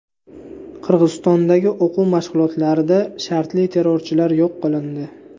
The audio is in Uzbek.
Qirg‘izistondagi o‘quv mashg‘ulotlarida shartli terrorchilar yo‘q qilindi.